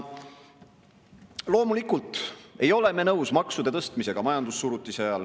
Loomulikult ei ole me nõus maksude tõstmisega majandussurutise ajal.